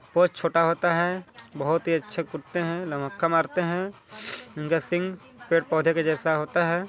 बहुत छोटा होता है बहुत ही अच्छा कुत्ते है न मका मारते है उनका सिंग पेड़ पोधा के जैसा होता है।